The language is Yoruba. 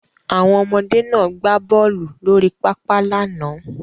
Àwọn ọmọdé náà gbá bọ́ọlù lórí pápá lánàá.